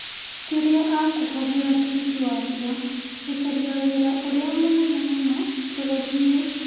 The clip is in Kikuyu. kĩrĩa akũhũthĩra tigiti wakĩo gũcaria wĩra ũrĩa mũnene mũno bũrũriinĩ.